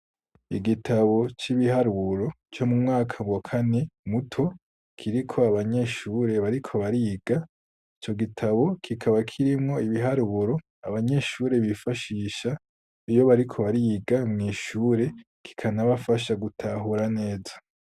Igitabo c'ibiharuro co mu mwaka wa kane muto kiriko abanyeshure bariko bariga ico gitabo kikaba kirimwo ibiharuro abanyeshure bifashisha iyo bariko bariga mw' ishure kikanabafasha gutahura neza.